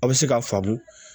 A' bɛ se k'a faamu